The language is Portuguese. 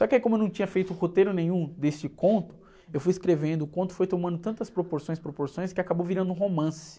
Só que aí como eu não tinha feito roteiro nenhum desse conto, eu fui escrevendo, o conto foi tomando tantas proporções e proporções que acabou virando um romance.